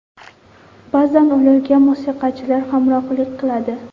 Ba’zan ularga musiqachilar hamrohlik qiladi.